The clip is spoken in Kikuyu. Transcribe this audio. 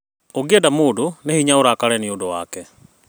ũngĩenda mũndũ nĩ hinya ũrakare nĩũndũ wake